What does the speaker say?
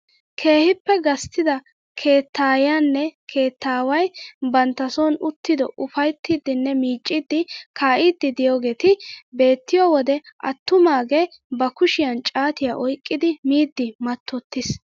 Keehippe gasttida keettayiyaanne keettaway bantta soni uttido ufayttiidinne miicciidi kaa'idi de'iyaageti beettiyoo wode attumaage ba kushiyaan caatiyaa oyqqidi miidi mattotittiis!